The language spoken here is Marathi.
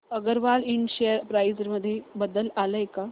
अगरवाल इंड शेअर प्राइस मध्ये बदल आलाय का